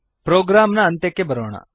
program ನ ಅಂತ್ಯಕ್ಕೆ ಬರೋಣ